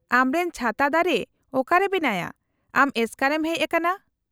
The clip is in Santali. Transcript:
-ᱟᱢᱨᱮᱱ ᱪᱷᱟᱛᱟ ᱫᱟᱨᱮ ᱚᱠᱟᱨᱮ ᱢᱮᱱᱟᱭᱟ, ᱟᱢ ᱮᱥᱠᱟᱨ ᱮᱢ ᱦᱮᱡ ᱟᱠᱟᱱᱟ ?